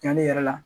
Yan ne yɛrɛ la